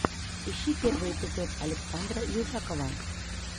ищи первый эпизод александра южакова